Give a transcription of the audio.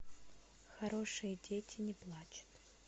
хорошие дети не плачут